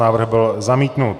Návrh byl zamítnut.